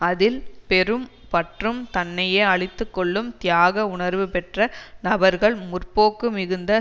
அதில் பெரும் பற்றும் தன்னையே அழித்துக்கொள்ளும் தியாக உணர்வு பெற்ற நபர்கள் முற்போக்கு மிகுந்த